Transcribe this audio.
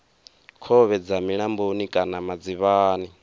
khovhe dza milamboni kana madzivhani